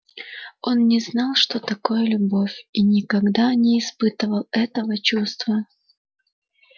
он не знал что такое любовь и никогда не испытывал этого чувства